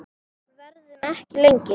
Verðum ekki lengi.